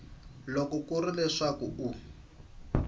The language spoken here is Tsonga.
loko ku ri leswaku u